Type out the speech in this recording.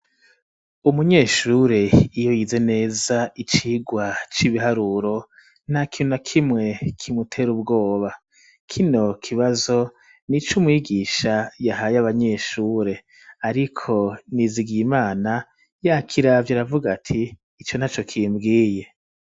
Umunyeshure iyo yize neza icirwa c'ibiharuro ntana kimwe kimutera ubwoba kino kibazo nico umwigisha yahaye abanyeshure ariko Nizigiyimana yakiravye aravuga ati ico ntaco kimbwiye.